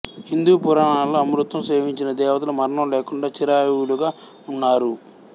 హిందూ పురాణాలలో అమృతం సేవించిన దేవతలు మరణం లేకుండా చిరావుయువులుగా ఉన్నారు